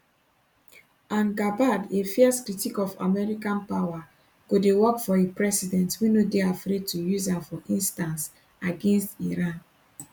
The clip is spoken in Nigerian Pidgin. and gabbard a fierce critic of american power go dey work for a president wey no dey afraid to use am for instance against iran